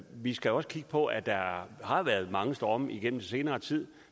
vi skal også kigge på at der har været mange storme igennem den senere tid